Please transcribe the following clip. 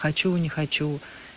хочу не хочу